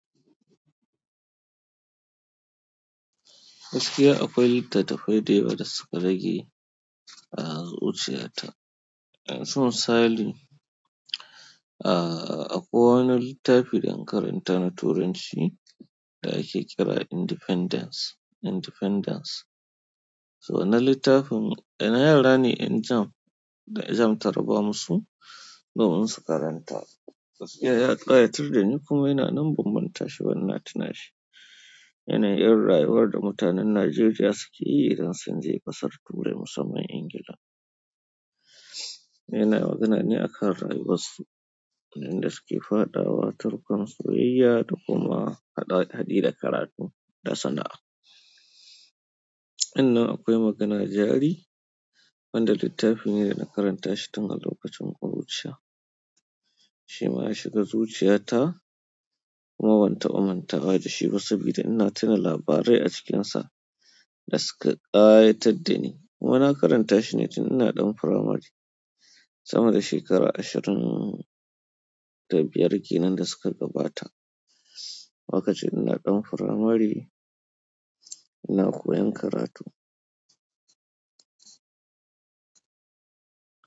Gaskiya akwai littattafai da yawa da suka rage a zuciyata. Don sun sani, ah akwai wani littafi da na karanta na turanci da ake kira Independence, Independence. So wannan littafin yana yara ne 'yan jam da jam taraba musu domin su karanta. Gaskiya ya ƙayatar da ni kuma ina nan ban manta shi ba ina tuna shi. Yanayin irin rayuwar da mutanen Najeriya suke yi idan sun je ƙasar ture musamman Ingila. Yana magana ne akan rayuwarsu yanda suke faɗawa tarkon soyayya da kuma haɗi da karatu da kuma sana'a sannan akwai magana jari wanda littafin ne da na karanta shi tun a lokacin ƙuruciya. Shi ma ya shiga zuciyata kuma ban taɓa mantawa da shi ba saboda ina tuna labarai a cikinsa da suka ƙayatar da ni. Kuma na karanta shi ne tun ina ɗan firamari sama da shekara ashirin da biyar kenan da suka gabata. Lokacin ina ɗan firamare ina koyan karatu.